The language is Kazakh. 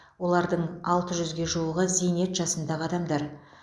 олардың алты жүзге жуығы зейнет жасындағы адамдар